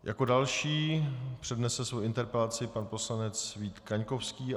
Jako další přednese svou interpelaci pan poslanec Vít Kaňkovský.